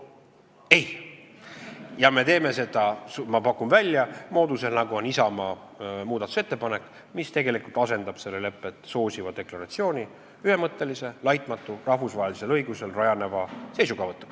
Ma pakun välja, et me teeme seda sel moodusel, nagu näeb ette Isamaa muudatusettepanek, mis tegelikult asendab lepet soosiva deklaratsiooni ühemõttelise, laitmatu, rahvusvahelisel õigusel rajaneva seisukohavõtuga.